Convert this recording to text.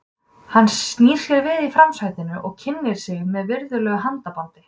Hann snýr sér við í framsætinu og kynnir sig með virðulegu handabandi.